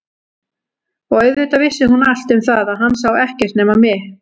Og auðvitað vissi hún allt um það að hann sá ekkert nema mig.